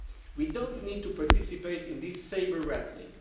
We do not need to participate in this sabre rattling.